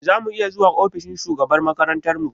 Za mu iya zuwa ofishin shugabar makarantar mu?